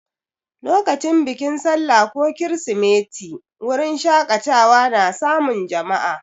Lokacin bikin sallah ko kirsimeti, wurin shaƙatawa na samun jama'a.